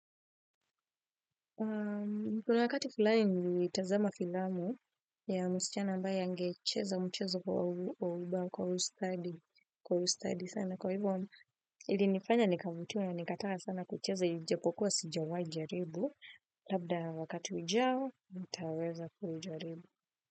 Kuna wakati fulani nilitazama filamu ya msichana ambaye angecheza mchezo kwa ustadi sana, kwa hivyo ilinifanya nikavutiwa, nikataka sana kucheza ijapokuwa sijawahi kujaribu. Labda wakati ujao nitaweza kuujaribu.